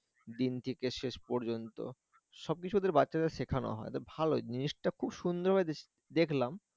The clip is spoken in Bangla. দিন থেকে শেষ পর্যন্ত সবকিছু ওদের বাচ্চাদের শেখানো হয় ভালো জিনিসটা খুব সুন্দর ভাবে দেখলাম